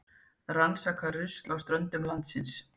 Rannsaka rusl á ströndum landsins